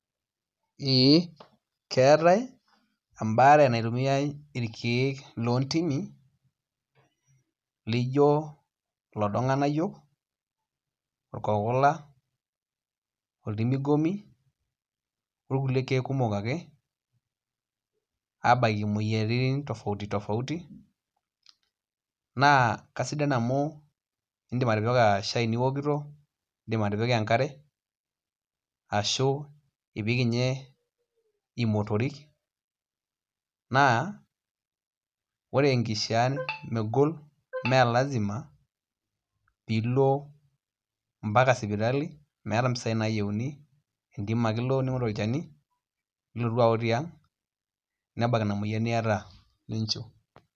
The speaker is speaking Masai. ee keetae eembaare naitumiyai irkiek loo ntimi laijo loodo irng'anayio ikokula oltimigomi oorkulie kiek kumok ake aabaiki imoyiaritin tofauti tofauti naa kasidan amuu iindim atipika shaii niwokito iindim atipika enkare ashuu ipik inye imotorik naa ore enkishaa megol mee lasima piilo mpaka sipitali meeta impisai naayieuni entim ake ilo ning'oru olchani nilotu awook tiang' nebak ina moyian niyata ninchiu